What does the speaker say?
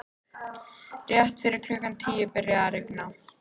Rétt fyrir klukkan tíu byrjaði að rigna.